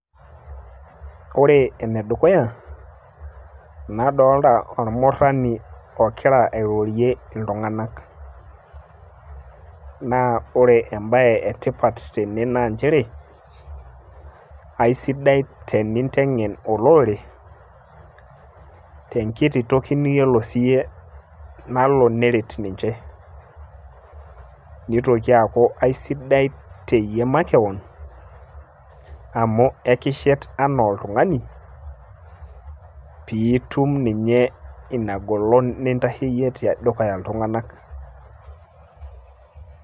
Ore enedukuya, nadolta ormurrani ogira airorie iltung'anak. Naa ore ebae etipat tene naa njere, aisidai teninteng'en olorere tenkiti toki niyiolo siyie nalo neret ninche. Nitoki aku aisidai teyie makeon, amu ekishet enaa oltung'ani, piitum ninye inagolon nintasheyie tedukuya iltung'anak.